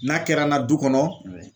N'a kɛra n na du kɔnɔ